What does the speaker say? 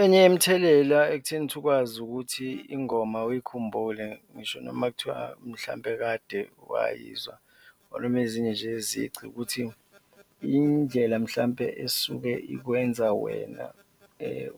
Enye yemithelela ekutheni ukuthi ukwazi ukuthi ingoma uyikhumbule ngisho noma kuthiwa mhlawumbe kade wayizwa or noma ezinye nje yezici ukuthi indlela mhlawumbe esuke ikwenza wena